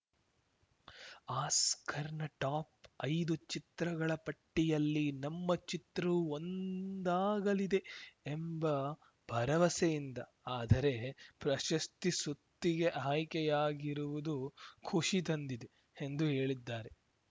ಆಸ್ಕರ್‌ನ top ಐದು ಚಿತ್ರಗಳ ಪಟ್ಟಿಯಲ್ಲಿ ನಮ್ಮ ಚಿತ್ರವೂ ಒಂದಾಗಲಿದೆ ಎಂಬ ಭರವಸೆಯಿಂದ ಆದರೆ ಪ್ರಶಸ್ತಿ ಸುತ್ತಿಗೆ ಆಯ್ಕೆಯಾಗಿರುವುದು ಖುಷಿ ತಂದಿದೆ ಎಂದು ಹೇಳಿದ್ದಾರೆ